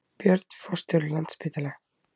Björn forstjóri Landspítala